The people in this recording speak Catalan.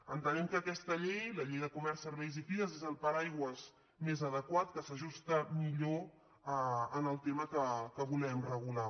entenem que aquesta llei la llei de comerç serveis i fires és el paraigua més adequat que s’ajusta millor al tema que volem regular